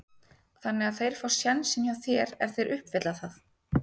Þannig að þeir fá sénsinn hjá þér ef þeir uppfylla það?